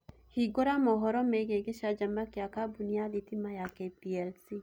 hĩngũra mohoro meegĩe gicanjama gia kambuni ya thĩtĩma ya K.P.L.C